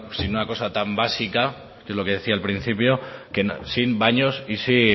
sin una cosa tan básica que es lo que decía al principio sin baños y sin